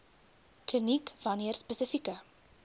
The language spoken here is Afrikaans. kliniek wanneer spesifieke